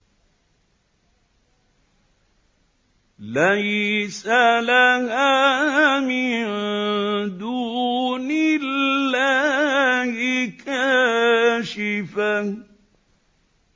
لَيْسَ لَهَا مِن دُونِ اللَّهِ كَاشِفَةٌ